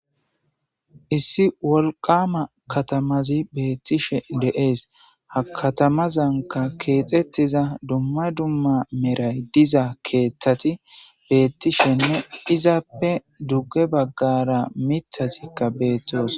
issi wolqama katamazi beettishe de'ees ha katamazanka keexettiza dumma dumma meray diza keeththati beettishenne izaappe dugge baggara mithasikka beettoosona